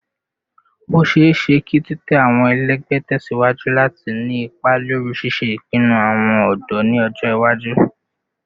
O ṣeeṣe ki titẹ awọn ẹlẹgbẹ tẹsiwaju lati ni ipa lori ṣiṣe ipinnu awọn ọdọ ni ọjọ iwaju